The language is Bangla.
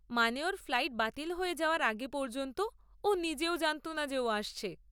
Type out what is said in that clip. মানে, ওর ফ্লাইট বাতিল হয়ে যাওয়ার আগে পর্যন্ত ও নিজেও জানত না যে ও আসছে।